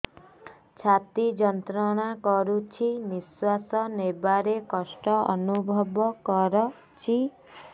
ଛାତି ଯନ୍ତ୍ରଣା କରୁଛି ନିଶ୍ୱାସ ନେବାରେ କଷ୍ଟ ଅନୁଭବ କରୁଛି